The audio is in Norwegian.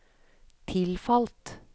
tilfalt